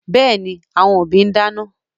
Yes, the parents are cooking